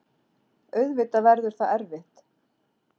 Auðvitað verður það erfitt.